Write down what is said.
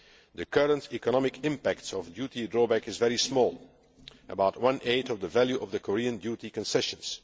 The current economic impact of duty drawback is very small, about one eighth of the value of the Korean duty concessions.